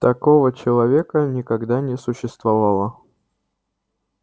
такого человека никогда не существовало